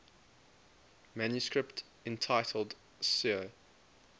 manuscript entitled 'sur